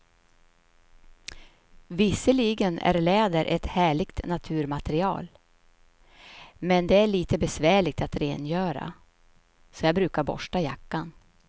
Visserligen är läder ett härligt naturmaterial, men det är lite besvärligt att rengöra, så jag brukar borsta jackan.